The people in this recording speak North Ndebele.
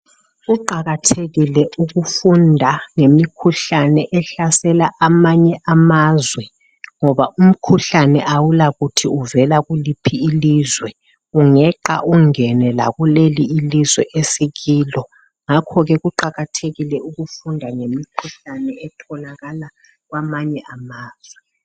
Kuqakathekile ukufunda ngemikhuhlane ehlasela amanye amazwe, ngoba umkhuhlane awulakuthi uvela kuliphi ilizwe ungeqa ingena lakwelethu ilizwe. Ngakho ke kuqakathekile ukufunda ngemikhuhlane evela kwamanye amazwe.